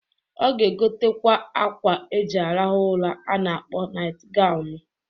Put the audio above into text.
Ọ ga-egotakwa akwa eji arahụ ụra a na-akpọ nait ganwụ.